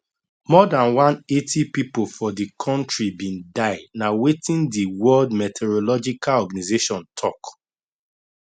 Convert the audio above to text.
more dan 180 pipo for di kontri bin die na wetin di world meteorological organization tok